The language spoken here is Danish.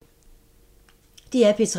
DR P3